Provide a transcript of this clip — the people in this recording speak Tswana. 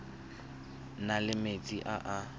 na le metsi a a